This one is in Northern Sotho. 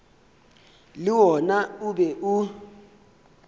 le wona o be o